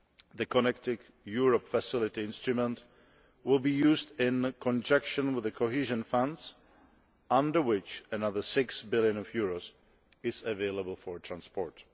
The Connecting Europe Facility instrument will be used in conjunction with the cohesion funds, under which another EUR 6 billion is available for transport.